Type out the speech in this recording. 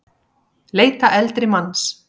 Leita eldri manns